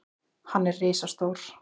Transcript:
Hann er risastór.